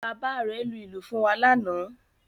Bàbá rẹ̀ lu ìlù fún wa lánàá